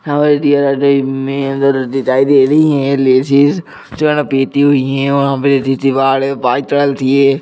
दिखाई दे रही है लेडीज --